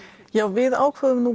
við ákváðum